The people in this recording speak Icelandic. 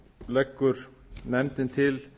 leggur nefndin til